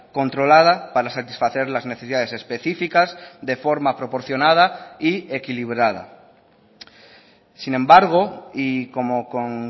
controlada para satisfacer las necesidades específicas de forma proporcionada y equilibrada sin embargo y como con